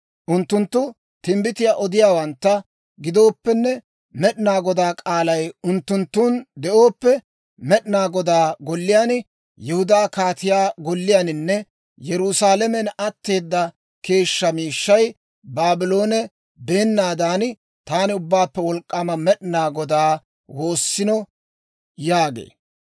Unttunttu timbbitiyaa odiyaawantta gidooppenne Med'inaa Godaa k'aalay unttunttun de'ooppe, Med'inaa Godaa Golliyaan, Yihudaa kaatiyaa golliyaaninne Yerusaalamen atteeda keeshshaa miishshay Baabloone beennaadan taana, Ubbaappe Wolk'k'aama Med'inaa Godaa woossino yaagee.